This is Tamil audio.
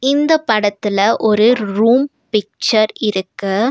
இந்தப் படத்துல ஒரு ரூம் பிக்சர் இருக்கு.